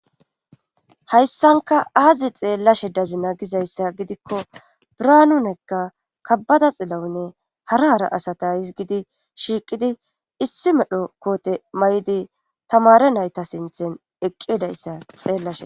ayssanka aazi xeellashe dazina gizayssa gidikko braanunekka kabbada xillawunne hara hara asata hizgidi shiiqidi issi medho koote may'idi tamare nayta sinthen eqqedayssa xeellashe